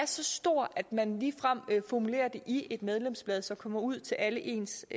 så stor at man ligefrem formulerer den i et medlemsblad som kommer ud til alle ens